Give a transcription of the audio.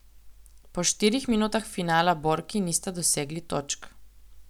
Po štirih minutah finala borki nista dosegli točk.